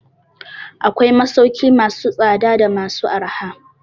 Akwai masauki masu tsada da masu arha.